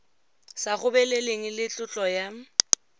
sa gobeleleng le tlotlo ya